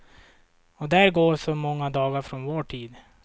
Och där går så många dagar från vår tid.